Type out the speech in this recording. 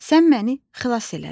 Sən məni xilas elədin.